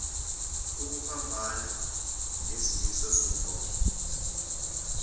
ukuphambana nezimiso zomgomo